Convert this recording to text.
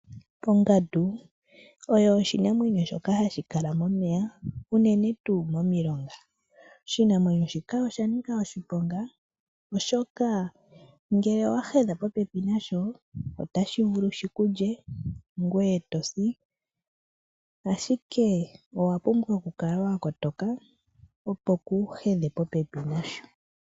Ongandu oyo oshinamwenyo shoka hashi kala momeya unene tuu momilonga. Oshinamwenyo shika osha nika oshiponga, oshoka ngele owa hedha popepi nasho, otashi vulu shi ku lye e to si. Owa pumbwa okukala wa kotoka, opo kuu hedhe popepi nasho.